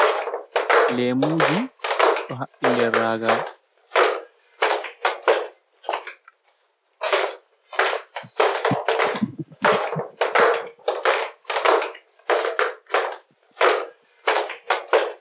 Leemuji doh habbi nder raaga.